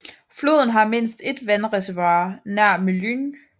Floden har mindst et vandreservoir nær Mlyniv